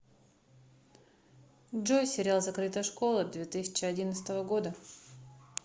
джой сериал закрытая школа две тысячи одиннадцатого года